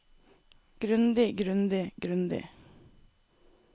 grundig grundig grundig